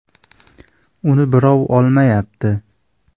Uni birov olmayapti.